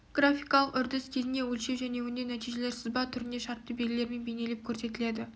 графикалық үрдіс кезінде өлшеу және өңдеу нәтижелер сызба түрінде шартты белгілермен бейнелеп көрсетіледі